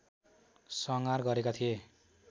संहार गरेका थिए